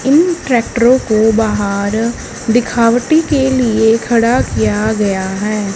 इन ट्रैक्टरों को बाहर दिखावटी के लिए खड़ा किया गया है।